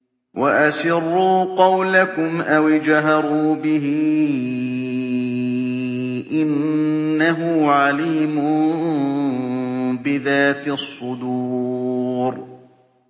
وَأَسِرُّوا قَوْلَكُمْ أَوِ اجْهَرُوا بِهِ ۖ إِنَّهُ عَلِيمٌ بِذَاتِ الصُّدُورِ